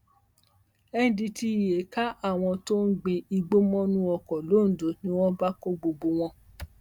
ndtea ka àwọn tó ń gbin igbó mọnú oko londo ni wọn bá kó gbogbo wọn